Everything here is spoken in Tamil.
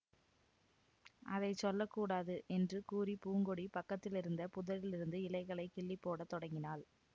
அதை சொல்ல கூடாது என்று கூறி பூங்கொடி பக்கத்திலிருந்த புதரிலிருந்து இலைகளைக் கிள்ளி போட தொடங்கினாள்